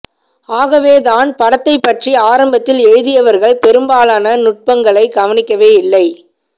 ஆகவேதான் படத்தைப் பற்றி ஆரம்பத்தில் எழுதியவர்கள் பெரும்பாலான நுட்பங்களை கவனிக்கவே இல்லை